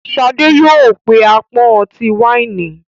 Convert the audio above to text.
Shade yóò pe apọn ọti-waini.